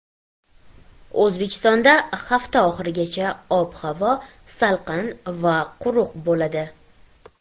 O‘zbekistonda hafta oxirigacha ob-havo salqin va quruq bo‘ladi.